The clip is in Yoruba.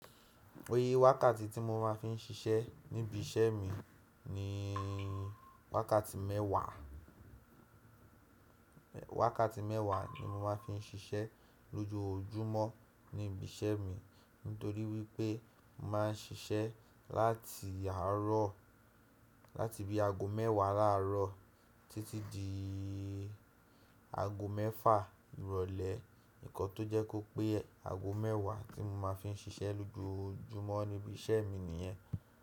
Oyé wákàtí tí mo máa ń fi ń ṣiṣẹ́ níbi iṣẹ́ mi ni wákàtí mẹ́wàá, wákàtí mẹ́wàá ni mo máa ń fi ń ṣiṣẹ́ lójoojúmọ́ níbi iṣẹ́ mi. Nítorí wípé mo máa ń ṣiṣẹ́ láti àárọ̀, láti bí aago mẹ́wàá láàárọ̀ títí di aago mẹ́fà ìrọ̀lẹ́. Nǹkan tó jẹ́ kó pé aago mẹ́wàá tí mo máa ń fi ń ṣiṣẹ́ lójoojúmọ́ níbi iṣẹ́ mi nìyẹn.